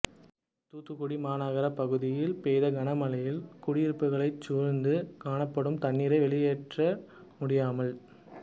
தூத்துக்குடி மாநகரப் பகுதியில் பெய்த கனமழையால் குடியிருப்புகளைச் சூழ்ந்து காணப்படும் தண்ணீரை வெளியேற்ற முடியாமல்